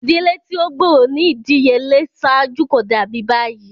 Idile ti o gbooro ni idiyele ṣaaju ko dabi bayi.